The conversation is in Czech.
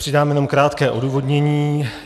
Přidám jenom krátké odůvodnění.